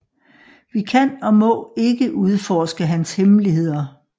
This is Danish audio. Vi kan og må ikke udforske hans hemmeligheder